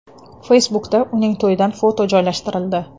Facebook’da uning to‘yidan foto joylashtirildi .